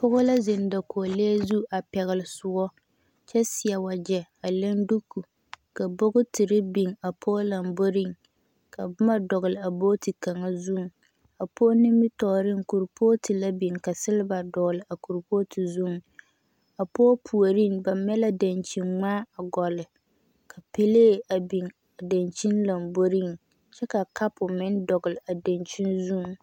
Poge la ziŋ dakolee zu a pɛɛle soɔ kyɛ seɛ wakyɛ a leŋ duuko ka bɔgetire biŋ a poge lomboriŋ ka boma dɔgle a bɔgeti kaŋa zuiŋ a poge nimitooriŋ kuripogeti la biŋ silba dɔgle a kuripogeti zuiŋ a poge puuoriŋ ba meɛ la dankyinni gmaa gɔlii ka pɛlee a biŋ a dankyine lomboriŋ kyɛ ka kapo meŋ dɔglee a dankyine zuiŋ.